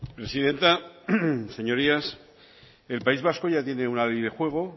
presidenta señorías el país vasco ya tiene una ley de juego